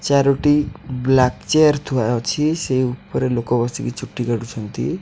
ଚାରୋଟି black chair ଥୁଆ ଅଛି। ସେଇ ଉପରେ ଲୋକ ବସିକି ଚୁଟି କାଟୁଛନ୍ତି।